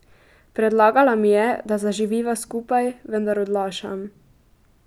Predlagala mi je, da zaživiva skupaj, vendar odlašam.